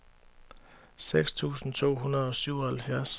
seks tusind to hundrede og syvoghalvfjerds